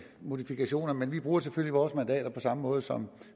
modifikationer men vi bruger selvfølgelig vores mandater på samme måde som